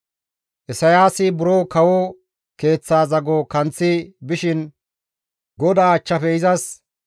Isayaasi buro kawo keeththaa zago kanththi bishin GODAA achchafe izas,